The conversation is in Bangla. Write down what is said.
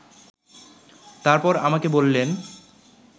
তারপর আমাকে বলিলেন